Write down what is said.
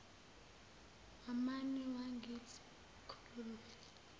wamane wangithi klulu